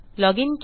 loginकेले